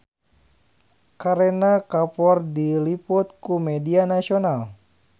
Kareena Kapoor diliput ku media nasional